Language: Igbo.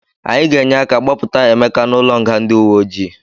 Anyị ga-enye aka gbapụta Emeka n'ụlọnga ndị uwe ojii.